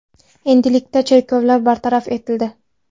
Endilikda cheklovlar bartaraf etildi.